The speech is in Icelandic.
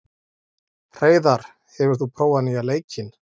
Hreiðar, hefur þú prófað nýja leikinn?